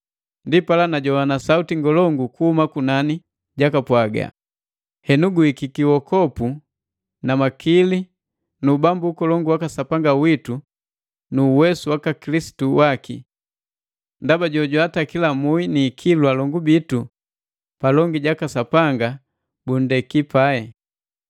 Ndipala najoana sauti ngolongu kuhuma kunani jipwaga, “Henu guhikiki uokopu na makili nu ubambu ukolongu waka Sapanga witu nu uwesu waka Kilisitu waki! Ndaba jo jwaatakila mui ni ikilu alongu bitu palongi jaka Sapanga bunndeki pai.